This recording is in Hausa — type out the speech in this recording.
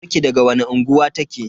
Kawarki daga wani unguwa take?